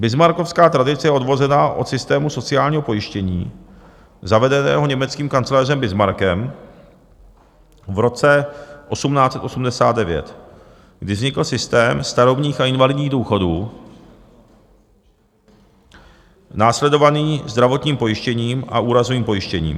Bismarckovská tradice je odvozená od systému sociálního pojištění zavedeného německým kancléřem Bismarckem v roce 1889, kdy vznikl systém starobních a invalidních důchodů následovaný zdravotním pojištěním a úrazovým pojištěním.